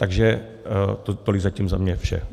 Takže tolik zatím za mě vše.